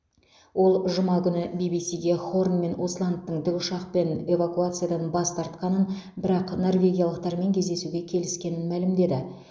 ол жұма күні би би сиге хорн мен усландтың тікұшақпен эвакуациядан бас тартқанын бірақ норвегиялықтармен кездесуге келіскенін мәлімдеді